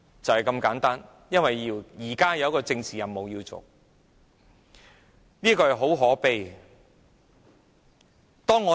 一切都是因為有一個政治任務要完成，這是很可悲的。